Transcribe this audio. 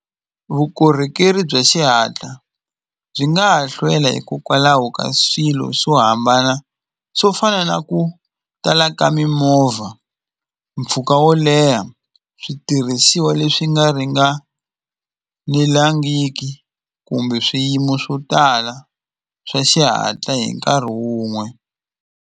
Vukorhokeri bya xihatla byi nga ha hlwela hikokwalaho ka swilo swo hambana swo fana na ku tala ka mimovha mpfhuka wo leha switirhisiwa leswi nga ringanelangiki kumbe swiyimo swo tala swa xihatla hi nkarhi wun'we.